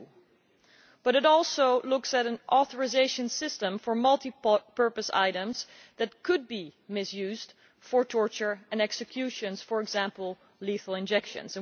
2. But it also looks at an authorisation system for multi-purpose items that could be misused for torture and executions for example, lethal injections.